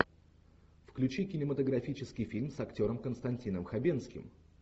включи кинематографический фильм с актером константином хабенским